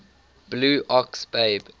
blue ox babe